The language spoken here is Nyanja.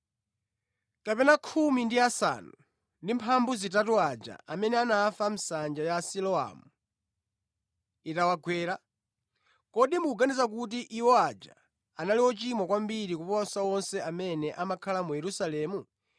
Kapena anthu 18 aja amene anafa nsanja ya Siloamu itawagwera, kodi mukuganiza kuti iwo aja anali ochimwa kwambiri kuposa onse amene amakhala mu Yerusalemu?